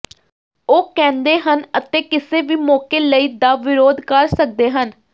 ਉਹ ਕਹਿੰਦੇ ਹਨ ਅਤੇ ਕਿਸੇ ਵੀ ਮੌਕੇ ਲਈ ਦਾ ਵਿਰੋਧ ਕਰ ਸਕਦੇ ਹਨ